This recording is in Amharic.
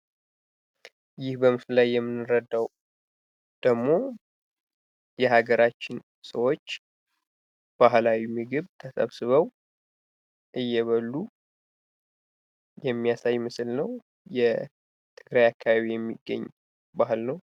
ይህ በምስሉ ላይ የምንረዳው ደግሞ የሀገራችን ሰዎች ባህላዊ ምግብ ተሰብስበው እየበሉ የሚያሳይ ምስል ነው የትግራይ አካባቢ የሚገኝ ባህል ነው።